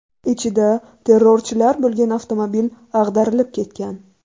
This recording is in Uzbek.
Ichida terrorchilar bo‘lgan avtomobil ag‘darilib ketgan.